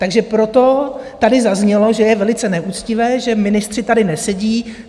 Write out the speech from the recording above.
Takže proto tady zaznělo, že je velice neuctivé, že ministři tady nesedí.